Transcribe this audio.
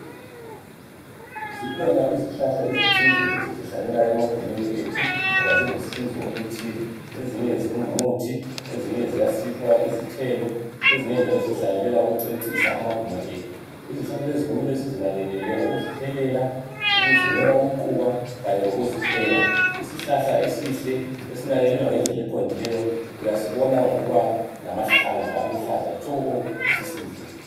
Zikhona izihlahla ezithize esizihlanyela emagimeni ethu ngoba zilusizo okuthile ngoba ezinye zingumuthi lezinye ziyasipha izithelo ezinye njalo sizihlanyelela ukucecisa amaguma ethu izihlahla lezi kumele sizinakekele ngokuzithelela ukuzinika umquba Kanye lokuzuthena isihlahla esihle esinakekelwa ngendlela eqondileyo usibona ngokuba lamahlamvu aluhlaza tshoko sisihle.